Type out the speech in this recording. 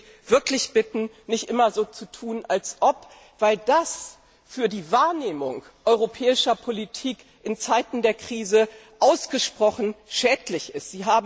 Ich würde Sie wirklich bitten, nicht immer so zu tun als ob, weil das für die Wahrnehmung europäischer Politik in Zeiten der Krise ausgesprochen schädlich ist.